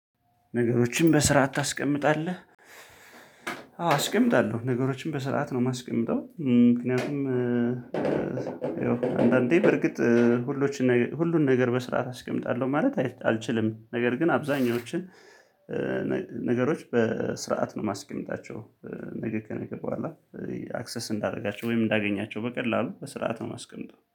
ነገሮችን በስርዓት ታስቀምጣለህ? አዎ አስቀምጣለሁ ነገሮችን በስርዓት ነው የማስቀምጠው። ምክንያቱም ይኸው አንዳንዴ በርግጥ ሁሎችን ነገር ሁሉን ነገር በስራት አስቀምጣለሁ ማለት አልችልም ነገር ግን አብዛኞችን ነ ነገሮች በስርዓት ነው ማስቀምጣቸው። ነገ ከነገበኋላ ያ አክሰስ እንዳደርጋቸው ወይም እንዳገኛቸው በቀላሉ በስርዓት ነው ማስቀምጠው